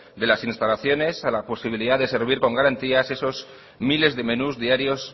de las instalaciones a la posibilidad de servir con garantías esos miles de menús diarios